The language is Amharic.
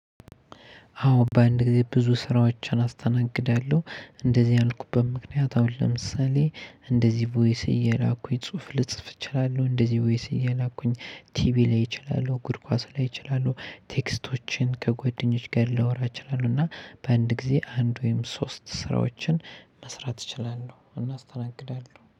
አወ በአንድ ግዜ ብዙ ስራወቼን አስተናግዳለሁ። እንደዚህ ያልኩበት ምክናየት ለምሳሌ እንደዚህ ቮይስ እየላኩኝ ጽሁፍ ልጽፍ እችላለሁ እንደዚህ ቮይስ እየላኩኝ ቲቪ ላይ እችላለሁ እግር ኳስ ላይ እችላለሁ ቴክስቶችን ከጓደኞች ጋር ላወራ እችላለሁ። እና በአንድ ጊዜ አንድ ወይም ሶስት ስራዎችን መስራት እችላለሁ አስተናግዳለሁ